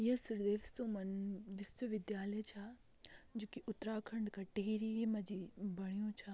यह श्री देव सुमन विश्वविद्यालय छा जो की उत्तराखंड का टिहरी मा जी बणयु छा।